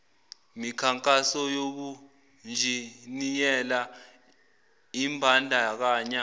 mikhankaso yobunjiniyela imbandakanya